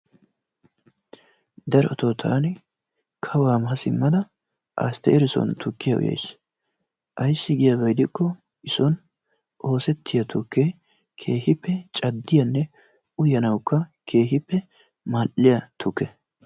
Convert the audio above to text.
Darotoo taani kawaa ma siimmada asteeri soon tukkiyaa uyays. Aysi giyaaba gidikko i soon oossettiyaa tukkee keehippe caaddiyaanne uyanawukka keehippe mal"iyaa tuukke.